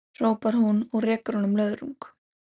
hrópar hún og rekur honum löðrung.